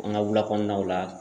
An ga wula kɔnɔnaw la